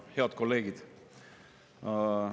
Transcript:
Head kolleegid!